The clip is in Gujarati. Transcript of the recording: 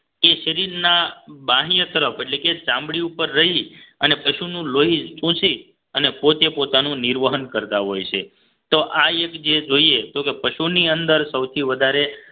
કે શરીરના બાહ્ય તરફ એટલે કે ચામડી ઉપર રહી અને પશુનું લોહી ચુસી અને પોતે પોતાનું નિર્વહન કરતા હોય છે તો આ એક જે જોઈએ તો કે પશુની અંદર સૌથી વધારે